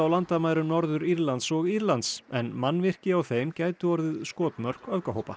landamærum Norður Írlands og Írlands en mannvirki á þeim gætu orðið skotmörk öfgahópa